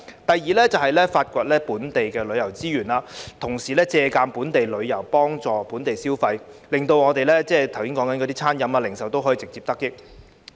第二，是發掘本地旅遊資源，同時借助本地旅遊幫助本地消費，讓我們剛才提及的餐飲和零售業直接得益。